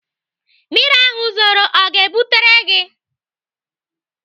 Mmiri ahụ zoro ọ ga-ebutere gị?